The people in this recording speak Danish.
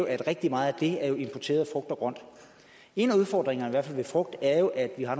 at rigtig meget af det er importeret frugt og grønt en af udfordringerne i hvert fald ved frugt er jo at vi har